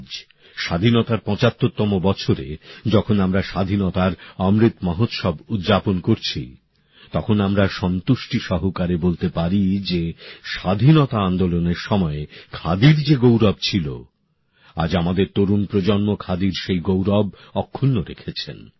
আজ স্বাধীনতার ৭৫তম বছরে যখন আমরা স্বাধীনতার অমৃত মহোৎসব উদযাপন করছি তখন আমরা সন্তুষ্টি নিয়ে বলতে পারি যে স্বাধীনতা আন্দোলনের সময়ে খাদির যে গৌরব ছিল আজ আমাদের তরুণ প্রজন্ম খাদির সেই গৌরব অক্ষুন্ন রেখেছেন